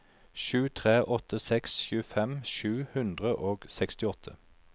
sju tre åtte seks tjuefem sju hundre og sekstiåtte